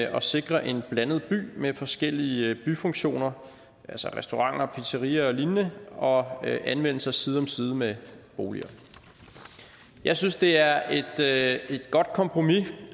og sikre en blandet by med forskellige byfunktioner altså restauranter pizzeriaer og lignende og med anvendelse side om side med boliger jeg synes det er et er et godt kompromis